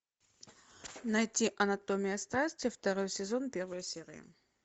найти анатомия страсти второй сезон первая серия